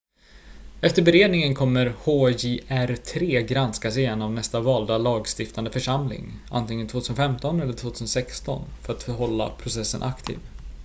efter beredningen kommer hjr-3 granskas igen av nästa valda lagstiftande församling antingen 2015 eller 2016 för att hålla processen aktiv